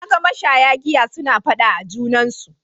Na ga mashaya giya suna faɗa a junansu.